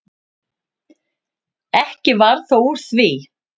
Ekki varð þó úr því.